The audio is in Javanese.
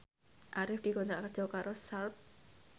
Arif dikontrak kerja karo Sharp